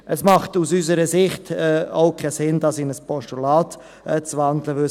Es macht aus unserer Sicht auch keinen Sinn, dies in ein Postulat zu wandeln.